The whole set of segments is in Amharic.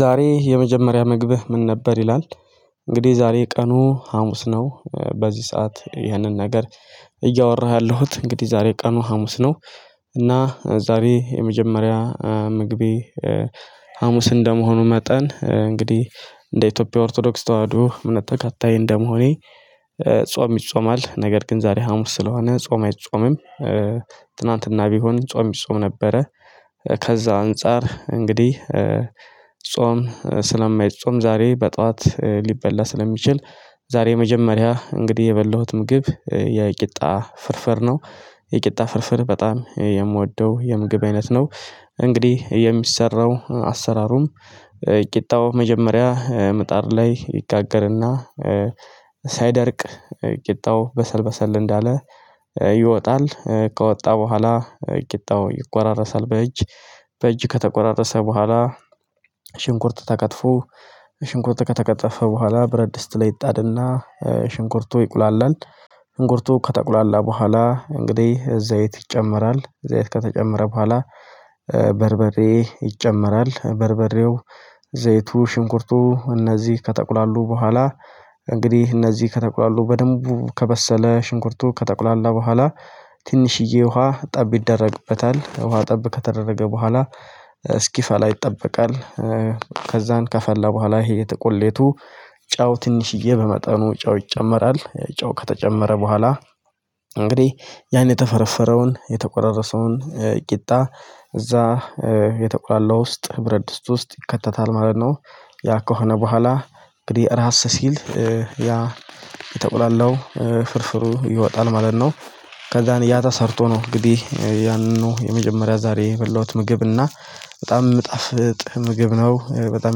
ዛሬ የመጀመሪያ ምግብህ ምን ነበር ይላል? እንግዲህ ዛሬ ቀኑ ሀሙስ ነው በዚህ ሰዓት ይህንን ነገር እያወራሁ ያለሁት እንግዲህ ዛሬ ቀኑ ሀሙስ ነው። እና ዛሬ የመጀመሪያ ምግቤ ሀሙስ እንደመሆኑ መጠን እንግዲህ እንደ ኢትዮጵያ ኦርቶዶክስ ተዋህዶ እምነት ተከታይ እንደመሆኔ ጾም ይጾማል ነገር ግን ዛሬ ሀሙስ ስለሆነ ጾም አይጾምም። ትናንትና ቢሆን ጾም ቢጾም ነበረ። ከዛ አንፃር እንግዲህ ጾም ስለማይጾም ዛሬ በጧት ሊበላ ስለሚችል ዛሬ የመጀመሪያ እንግዲህ የበላሁት ምግብ የቂጣ ፍርፍር ነው። የቂጣ ፍርፍር በጣም የምወደው የምግብ አይነት ነው። እንግዲህ የሚሰራው አሰራሩም ቂጣው መጀመሪያ ምጣር ላይ ይጋገርና። ሳይደርቅ ቂጣው በሰል በሰል እንዳለ ይወጣል። ከወጣ በኋላ ቂጣው ይቆራረሳል በእጅ በእጅ ከተቆራረሰ በኋላ። ሽንኩርት ተከትፎ ሽንኩርት ከተከተፈ በኋላ በረድስት ላይ ይጣድና ሽንኩርቶ ይቁላላል። ሽንኩርቱ ከጠቁላላ በኋላ እንግዲህ ዘይት ይጨመራል እዛይት ከተጨመረ በኋላ በርበሬ ይጨመራል በርበሬው። ዘይቱ ሽንኩርቱ እነዚህ ከጠቁላሉ በኋላ እንግዲህ እነዚህ ከተቁላሉ በደንቡ ከበሰለ ሽንኩርቱ ከተቁላላ በኋላ ትንሽዬ ውሃ ጠብ ይደረግበታል። ውሃ ጠብ ከተደረገ በኋላ እስኪፋ ላይ ይጠበቃል። ከዛን ከፈላ በኋላ ይሄ ቁሌቱ ጨው ትንሽዬ በመጠኑ ጨው ይጨመራል። ጨው ከተጨመረ በኋላ እንግዲህ ያን የተፈረፈረውን የተቆራረሰውን ቂጣ እዛ የተቁላላ ውስጥ ብረድስት ውስጥ ይከተታል ማለት ነው። ያ ከሆነ በኋላ እንግዲህ ራስ ሲል ያ የተቆላላው ፍርፍሩ ይወጣል ማለት ነው። ከዛን ያተሰርቶ ነው እንግዲህ ያንኑ የመጀመሪያ ዛሬ የበላሁት ምግብ እና በጣም የምጣፍጥ ምግብ ነው በጣም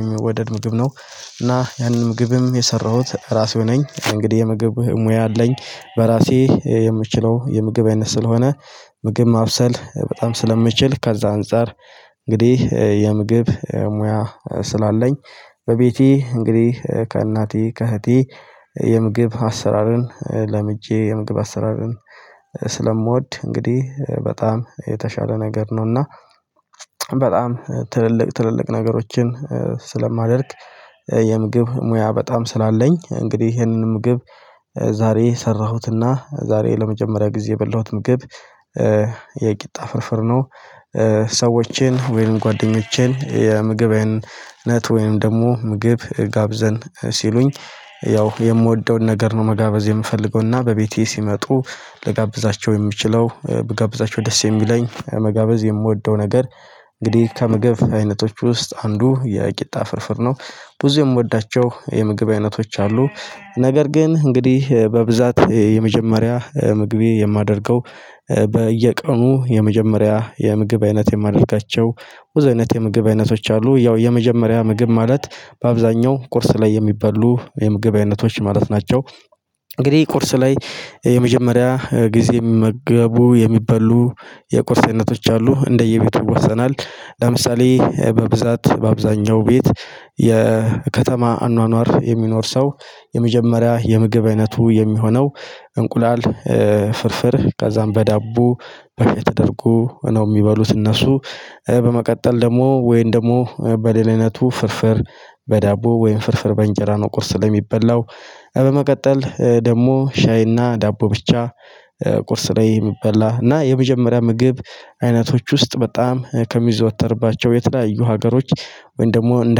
የሚወደድ ምግብ ነው። እና ያንን ምግብም የሰራሁት ራሴ ነኝ እንግዲህ የምግብ ሙያ አለኝ። በራሴ የምችለው የምግብ አይነት ስለሆነ ምግብ ማብሰል በጣም ስለምችል ከዛ አንፃር እንግዲህ የምግብ ሙያ ስላለኝ። በቤቴ እንግዲህ ከእናቴ ከእህቴ የምግብ አሰራርን ለምጄ የምግብ አሰራርን ስለምወድ እንግዲህ በጣም የተሻለ ነገር ነው እና። በጣም ትልልቅ ትልልቅ ነገሮችን ስለማደርግ የምግብ ሙያ በጣም ስላለኝ እንግዲህ ይሄንን ምግብ ዛሬ ሰራሁትና ዛሬ ለመጀመሪያ ጊዜ የበላሁትን ግብ የቂጣ ፍርፍር ነው። ሰዎቼን ወይም ጓደኞቼን የምግብነት ወይም ደግሞ ምግብ ጋብዘን ሲሉኝ ያው የምወደውን ነገር ነው መጋበዝ የምፈልገውና በቤቴ ሲመጡ ለጋብዛቸው የምችለው ብጋብዛቸው ደስ የሚለኝ መጋበዝ የምወደው ነገር። እንግዲህ ከመገብ አይነቶች ውስጥ አንዱ የቂጣ ፍርፍር ነው። ብዙ የምወዳቸው የምግብ አይነቶች አሉ። ነገር ግን እንግዲህ በብዛት የመጀመሪያ ምግቤ የማደርገው በየቀኑ የመጀመሪያ የምግብ አይነት የማደርጋቸው ብዙ አይነት የምግብ አይነቶች አሉ ያው የመጀመሪያ ምግብ ማለት በአብዛኛው ቁርስ ላይ የሚበሉ ወይም የምግብ አይነቶች ማለት ናቸው። እንግዲህ ቁርስ ላይ የመጀመሪያ ጊዜ ሊመገቡ የሚበሉ የቁርሴነቶች አሉ እንደየቤቱ ወሰናል። ለምሳሌ በብዛት በአብዛኛው ቤት የከተማ አኗኗር የሚኖር ሰው የመጀመሪያ የምግብ አይነቱ የሚሆነው እንቁላል ፍርፍር ከዛም በዳቦ በፊት ተደርጎ ነው የሚበሉት እነሱ። በመቀጠል ደግሞ ወይም ደግሞ በድል አይነቱ ፍርፍር በዳቦ ወይን ፍርፍር በእንጀራ ነው ቁርስ ላይ የሚበላው። በመቀጠል ደግሞ ሻይና ዳቦ ብቻ። ቁርስ ላይ የሚበላ እና የመጀመሪያ ምግብ አይነቶች ውስጥ በጣም ከሚዘወተርባቸው የተለያዩ ሀገሮች ወይም ደግሞ እንደ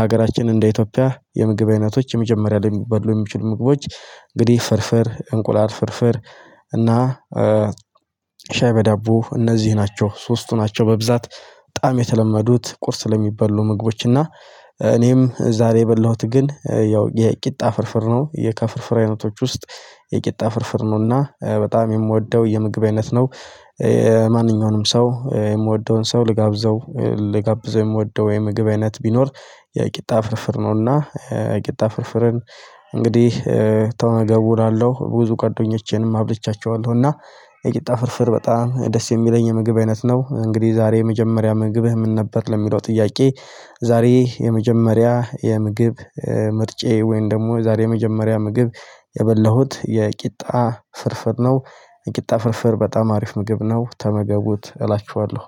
ሀገራችን እንደ ኢትዮጵያ የምግብ አይነቶች የመጀመሪያ ሊበሉ የሚችሉ ምግቦች። እንግዲህ ፍርፍር እንቁላል ፍርፍር እና ሻይ በዳቦ እነዚህ ናቸው ሶስቱ ናቸው። በብዛት በጣም የተለመዱት ቁርስ ለሚበሉ ምግቦች እና። እኔም ዛሬ የበላሁት ግን ያው የቂጣ ፍርፍር ነው የከፍርፍር አይነቶች ውስጥ የቂጣ ፍርፍር ነውና በጣም የምወደው የምግብ አይነት ነው። ማንኛውንም ሰው የምወደውን ሰው ልጋብዘው ልጋብዘው የምወደው ምግብ አይነት ቢኖር የቂጣ ፍርፍር ነውና የቂጣ ፍርፍርን። እንግዲህ ተው እገቡላለሁ ብዙ ቀዶኞቼንም አብልቻቸዋለሁ እና የጭጣ ፍርፍር በጣም ደስ የሚለኝ የምግብ አይነት ነው። እንግዲህ ዛሬ የመጀመሪያ ምግብህ ምንነበር ለሚለው ጥያቄ። ዛሬ የመጀመሪያ የምግብ ምርጫዬ ወይም ደግሞ የዛሬ የመጀመሪያ ምግብ የበላሁት የቂጣ ፍርፍር ነው። የቂጣ ፍርፍር በጣም አሪፍ ምግብ ነው ተመገቡት እላችኋለሁ።